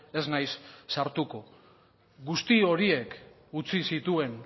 ez naiz sartuko guzti horiek utzi zituen